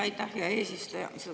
Aitäh, hea eesistuja!